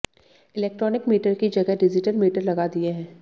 electronic meter की जगह digital meter लगा दिए हैं